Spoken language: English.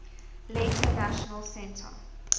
later national centre